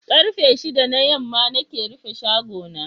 Karfe shidda na yamma nake rufe shago na.